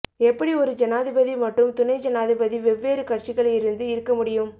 எப்படி ஒரு ஜனாதிபதி மற்றும் துணை ஜனாதிபதி வெவ்வேறு கட்சிகள் இருந்து இருக்க முடியும்